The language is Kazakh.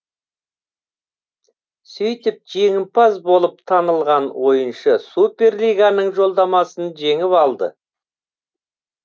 сөйтіп жеңімпаз болып танылған ойыншы супер лиганың жолдамасын жеңіп алды